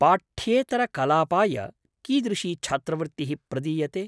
पाठ्येतरकलापाय कीदृशी छात्रवृत्तिः प्रदीयते?